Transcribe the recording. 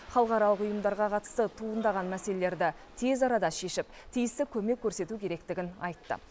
халықаралық ұйымдарға қатысты туындаған мәселелерді тез арада шешіп тиісті көмек көрсету керектігін айтты